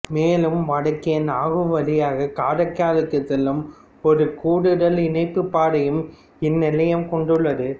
மேலும் வடக்கே நாகூர் வழியாகக் காரைக்காலுக்குச் செல்லும் ஒரு கூடுதல் இணைப்புப் பாதையையும் இந்நிலையம் கொண்டுள்ளது